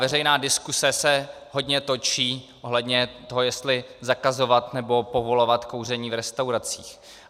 Veřejná diskuse se hodně točí ohledně toho, jestli zakazovat nebo povolovat kouření v restauracích.